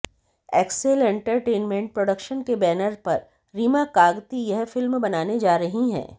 Excel entertainment production के banner पर रीमा कागती यह फिल्म बनाने जा रही हैं